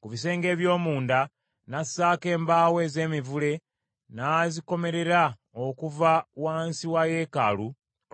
Ku bisenge eby’omunda n’assaako embaawo ez’emivule n’azikomelera okuva wansi wa yeekaalu